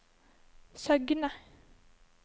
Søgne